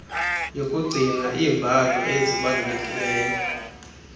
yokugcina iimbalo ezibalulekileyo